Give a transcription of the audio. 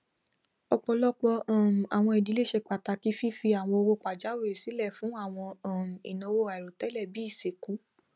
ọpọlọpọ um àwọn idílé ṣe pàtàkì fífi àwọn owó pajàwìrì silẹ fún àwọn um ináwó àìròtẹlẹ bíi ìsìnkú